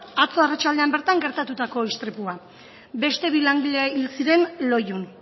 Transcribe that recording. atzo arratsaldean bertan gertatutako istripua beste bi langile hil ziren loiun